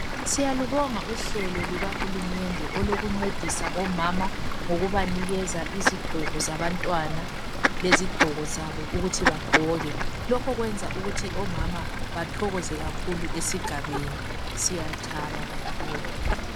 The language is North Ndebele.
Siyalubonga uhlelo luka hulumende olokuncedisa omama ngokubanikeza izigqoko zabantwana lezigqoko zabo ukuthi bagqoke, lokho kwenza omama bathokoze kakhulu esigabeni. Siyathaba kakhulu.